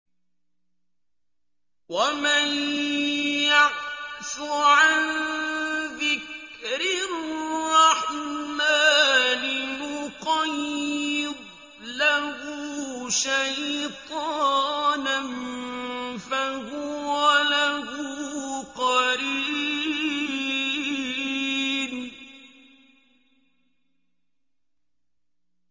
وَمَن يَعْشُ عَن ذِكْرِ الرَّحْمَٰنِ نُقَيِّضْ لَهُ شَيْطَانًا فَهُوَ لَهُ قَرِينٌ